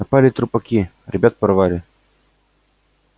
напали трупаки ребят порвали